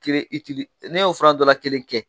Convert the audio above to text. N'e y'o fura dɔ la kelen kɛ